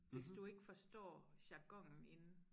Hvis du ikke forstår jargonen inde